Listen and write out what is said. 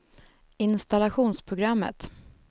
installationsprogrammet